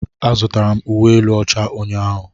Azụtara m uwe elu ọcha ụnyaahụ.